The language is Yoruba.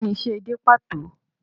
Kí ni isẹ́ edé pàtó?